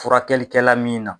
Furakɛlikɛla min na